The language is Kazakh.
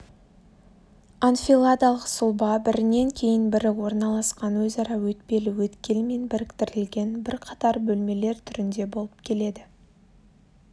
анфиладалық сұлба бірінен кейін бірі орналасқан өзара өтпелі өткелмен біріктірілген бірқатар бөлмелер түрінде болып келеді